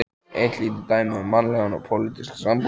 Eitt lítið dæmi um mannlega og pólitíska sambúð.